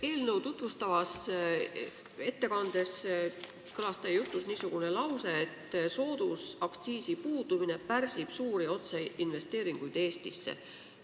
Eelnõu tutvustavas ettekandes kõlas teie jutus niisugune lause, et soodusaktsiisi puudumine pärsib suuri otseinvesteeringuid Eestisse.